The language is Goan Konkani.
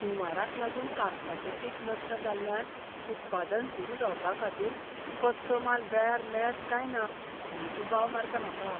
हुंवाराक लागून कापसाचें पीक नश्ट जाल्ल्यान उत्पादन सुरू जावपाखातीर कच्चो माल वेळार मेळत काय ना म्हूण दुबाव मारता म्हाका.